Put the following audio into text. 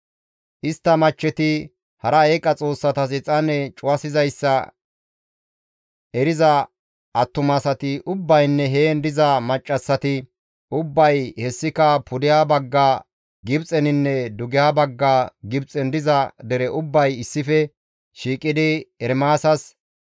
Istta machcheti hara eeqa xoossatas exaane cuwasizayssa eriza attumasati ubbaynne heen diza maccassati ubbay hessika pudeha bagga Gibxeninne dugeha bagga Gibxen diza dere ubbay issife shiiqidi Ermaasas,